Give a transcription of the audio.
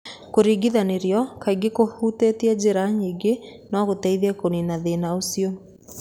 Kũringithanĩrio, kaingĩ kũhutĩtie njĩra nyingĩ, no gũteithie kũniina thĩna ũcio.